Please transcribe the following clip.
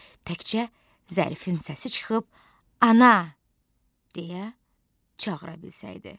Təkcə Zərifin səsi çıxıb: “Ana!” deyə çağıra bilsəydi.